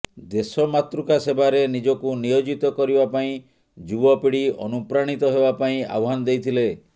ଦେଶମାତୃକା ସେବାରେ ନିଜକୁ ନିୟୋଜିତ କରିବା ପାଇଁ ଯୁବପିଢି ଅନୁପ୍ରାଣୀତ ହେବା ପାଇଁ ଆହ୍ୱାନ ଦେଇଥିଲେ